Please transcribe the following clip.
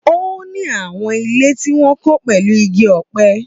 Ó ní àwọn ilé tí wọ́n kọ́ pẹ̀lú igi ọ̀pẹ.